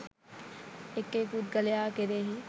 එක් එක් පුද්ගලයා කෙරෙහි,